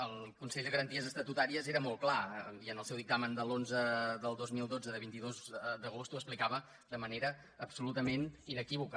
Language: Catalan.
el consell de garanties estatutàries era molt clar i en el seu dictamen onze dos mil dotze de vint dos d’agost ho explicava de manera absolutament inequívoca